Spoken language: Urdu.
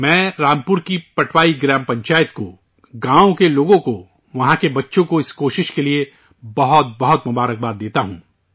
میں رامپور کی پٹوائی گرام پنچایت کو، گاؤں کو، لوگوں کو، وہاں کے بچوں کو اس کوشش کے لیے بہت بہت مبارکباد دیتا ہوں